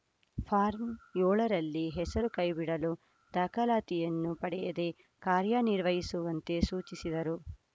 form ಏಳರಲ್ಲಿ ಹೆಸರು ಕೈಬಿಡಲು ದಾಖಲಾತಿಯನ್ನು ಪಡೆಯದೆ ಕಾರ್ಯನಿರ್ವಹಿಸುವಂತೆ ಸೂಚಿಸಿದರು